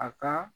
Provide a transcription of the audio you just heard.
A ka